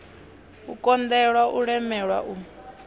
u konḓelwa u lemelwa u